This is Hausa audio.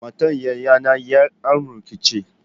Matar yayana ’yar amurka ce.